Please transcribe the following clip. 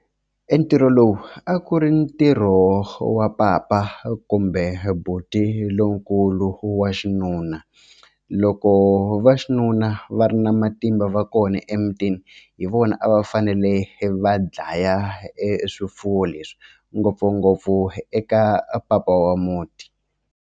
E ntirho lowu a ku ri ntirho wa papa kumbe buti lonkulu wa xinuna loko vaxinuna va ri na matimba va kona emutini hi vona a va fanele va dlaya e swifuwo leswi ngopfungopfu eka papa wa muti.